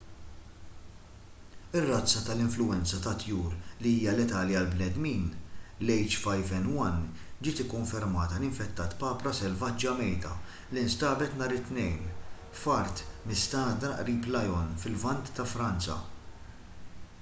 ir-razza tal-influwenza tat-tjur li hija letali għall-bnedmin l-h5n1 ġiet ikkonfermata li infettat papra selvaġġa mejta li nstabet nhar it-tnejn f'art mistagħdra qrib lyon fil-lvant ta' franza